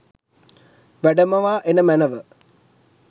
වැඩමවා එන මැනැව.